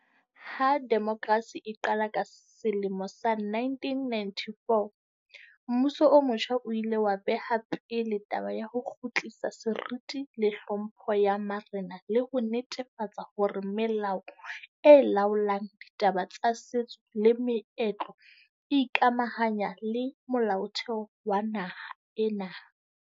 Ha demokrasi e qala ka sele mo sa 1994, mmuso o motjha o ile wa beha pele taba ya ho kgutlisa seriti le tlhompho ya marena le ho netefatsa hore melao e laolang ditaba tsa setso le meetlo e ikamahanya le Molaotheo wa naha ena.